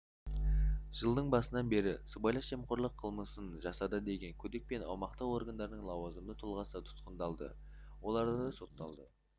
жылдың басынан бері сыбайлас жемқорлық қылмысын жасады деген күдікпен аумақтық органдардың лауазымды тұлғасы тұтқындалды олардың сотталды